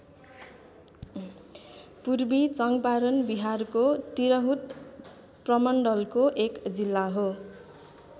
पूर्वी चङ्पारण बिहारको तिरहुत प्रमण्डलको एक जिल्ला हो।